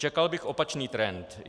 Čekal bych opačný trend.